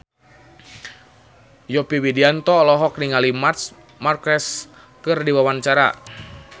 Yovie Widianto olohok ningali Marc Marquez keur diwawancara